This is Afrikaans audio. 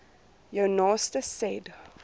jou naaste said